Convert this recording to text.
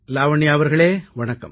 லாவண்யா அவர்களே வணக்கம்